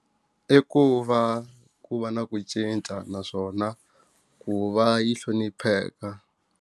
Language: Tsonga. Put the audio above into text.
I ku va ku va na ku cinca naswona ku va yi hlonipheka.